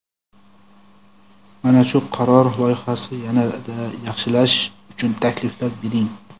Mana shu qaror loyihasini yana-da yaxshilash uchun takliflar bering.